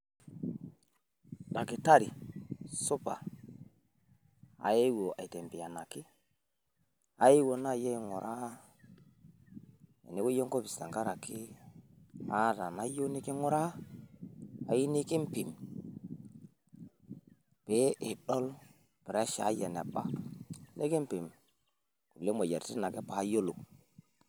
Dakitari supa, aayewuo aitembeanaki, ayewuo naaji aing'uraa enewueji enkopis tenkarake aata nayieu niking'uraa. Ayieu nikiimpim pee idol pressure ai eneba nikiimpim kulie moyiaritin ake paayiolou.